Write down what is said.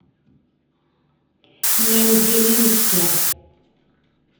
мензелинске